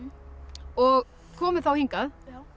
og komuð þá hingað